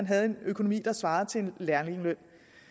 havde en økonomi der svarede til en lærlingeløn